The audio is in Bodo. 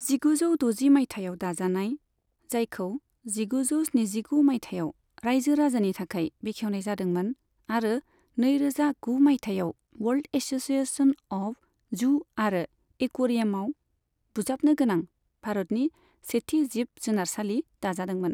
जिगुजौ द'जि मायथाइयाव दाजानाय, जायखौ जिगुजौ स्निजिगु मायथाइआव रायजो राजानि थाखाय बेखेवनाय जादोंमोन आरो नैरोजा गु मायथाइयाव वर्ल्ड एस'सिएशन अफ जु आरो एकुवेरियामआव बुजाबनो गोनां भारतनि सेथि जिब जुनारसालि दाजादोंमोन।